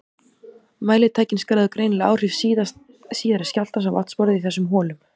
Mælitækin skráðu greinilega áhrif síðari skjálftans á vatnsborðið í þessum holum.